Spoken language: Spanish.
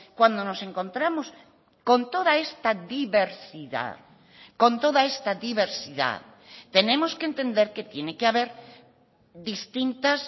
cuando nos encontramos con toda esta diversidad con toda esta diversidad tenemos que entender que tiene que haber distintas